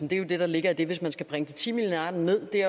det er jo det der ligger i det hvis man skal bringe de ti milliarder ned er